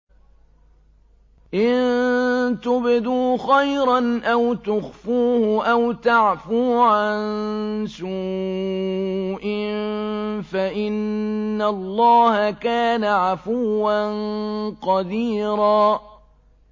إِن تُبْدُوا خَيْرًا أَوْ تُخْفُوهُ أَوْ تَعْفُوا عَن سُوءٍ فَإِنَّ اللَّهَ كَانَ عَفُوًّا قَدِيرًا